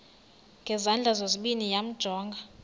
ngezandla zozibini yamjonga